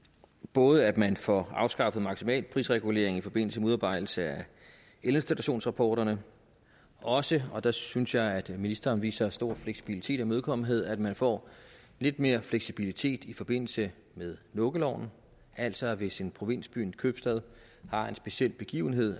både at man får afskaffet maksimalprisreguleringen i forbindelse med udarbejdelse af elinstallationsrapporter og også og der synes jeg at ministeren viser stor fleksibilitet og imødekommenhed at man får lidt mere fleksibilitet i forbindelse med lukkeloven altså at man hvis en provinsby en købstad har en speciel begivenhed